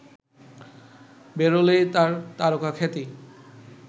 বেরোলেই তাঁর তারকাখ্যাতি